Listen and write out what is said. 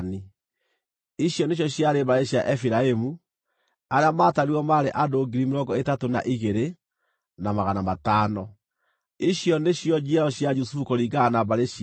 Ici nĩcio ciarĩ mbarĩ cia Efiraimu; arĩa maatarirwo maarĩ andũ 32,500. Icio nĩcio njiaro cia Jusufu kũringana na mbarĩ ciao.